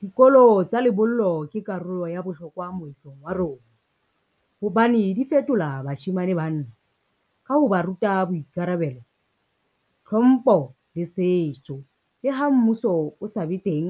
Dikolo tsa lebollo ke karolo ya bohlokwa moetlong wa rona, hobane di fetola bashemane banna. Ka ho ba ruta boikarabelo, tlhompho le setso, le ha mmuso o sa be teng